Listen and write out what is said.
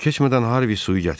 Çox keçmədən Harvi suyu gətirdi.